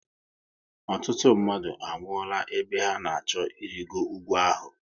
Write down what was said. Ọtụtụ mmadụ a nwuola ebe ha na achọ ịrigo ugwu ahụ